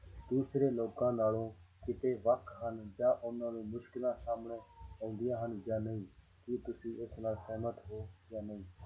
ਦੂਸਰੇ ਲੋਕਾਂ ਨਾਲੋਂ ਕਿਤੇ ਵੱਖ ਹਨ ਜਾਂ ਉਹਨਾਂ ਨੂੰ ਮੁਸ਼ਕਲਾਂ ਸਾਹਮਣੇ ਆਉਂਦੀਆਂ ਹਨ ਜਾਂ ਨਹੀਂ ਕੀ ਤੁਸੀਂ ਇਸ ਨਾਲ ਸਹਿਮਤ ਹੋ ਜਾਂ ਨਹੀਂ।